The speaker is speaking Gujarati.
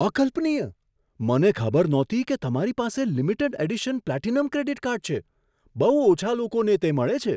અકલ્પનીય! મને ખબર નહોતી કે તમારી પાસે limited edition platinum credit card છે. બહુ ઓછા લોકોને તે મળે છે.